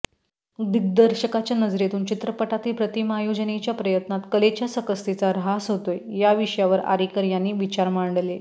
दिग्दर्शकाच्या नजरेतून चित्रपटातील प्रतिमायोजनेच्या प्रयत्नात कलेच्या सकसतेचा र्हास होतोय या विषयावर आरेकर यांनी विचार मांडले